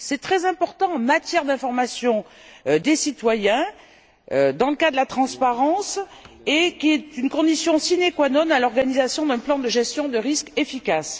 C'est très important en matière d'information des citoyens, dans le cadre de la transparence, et c'est une condition sine qua non à l'organisation d'un plan de gestion de risque efficace.